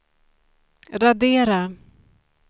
radera